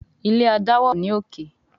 ilé adáwà o ní òkè.